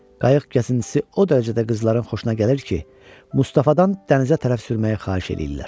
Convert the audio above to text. Qayıq kəsintisi o dərəcədə qızların xoşuna gəlir ki, Mustafadan dənizə tərəf sürməyi xahiş eləyirlər.